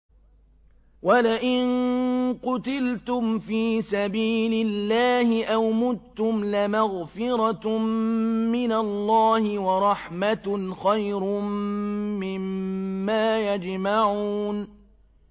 وَلَئِن قُتِلْتُمْ فِي سَبِيلِ اللَّهِ أَوْ مُتُّمْ لَمَغْفِرَةٌ مِّنَ اللَّهِ وَرَحْمَةٌ خَيْرٌ مِّمَّا يَجْمَعُونَ